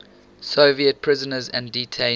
soviet prisoners and detainees